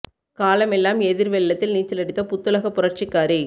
காலமெல்லாம் எதிர் வெள்ளத்தில் நீச்சலடித்த புத்துலக புரட்சிக்காரி